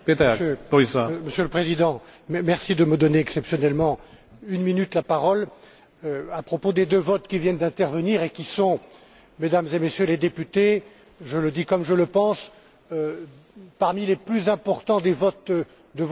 Monsieur le Président, merci de me donner exceptionnellement la parole une minute, à propos des deux votes qui viennent d'intervenir et qui sont, Mesdames et Messieurs les députés je le dis comme je le pense parmi les plus importants des votes de votre mandat.